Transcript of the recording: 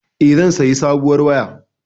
E, zan sayi sabuwar waya.